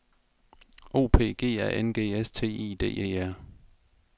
O P G A N G S T I D E R